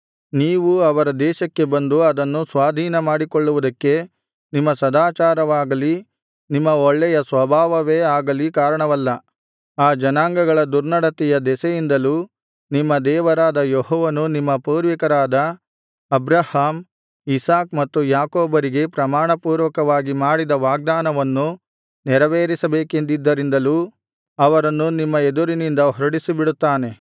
ನೀವು ಅವರ ದೇಶಕ್ಕೆ ಬಂದು ಅದನ್ನು ಸ್ವಾಧೀನ ಮಾಡಿಕೊಳ್ಳುವುದಕ್ಕೆ ನಿಮ್ಮ ಸದಾಚಾರವಾಗಲಿ ನಿಮ್ಮ ಒಳ್ಳೆಯ ಸ್ವಭಾವವೇ ಆಗಲಿ ಕಾರಣವಲ್ಲ ಆ ಜನಾಂಗಗಳ ದುರ್ನಡತೆಯ ದೆಸೆಯಿಂದಲೂ ನಿಮ್ಮ ದೇವರಾದ ಯೆಹೋವನು ನಿಮ್ಮ ಪೂರ್ವಿಕರಾದ ಅಬ್ರಹಾಮ್ ಇಸಾಕ್ ಮತ್ತು ಯಾಕೋಬರಿಗೆ ಪ್ರಮಾಣಪೂರ್ವಕವಾಗಿ ಮಾಡಿದ ವಾಗ್ದಾನವನ್ನು ನೆರವೇರಿಸಬೇಕೆಂದಿದ್ದರಿಂದಲೂ ಅವರನ್ನು ನಿಮ್ಮ ಎದುರಿನಿಂದ ಹೊರಡಿಸಿಬಿಡುತ್ತಾನೆ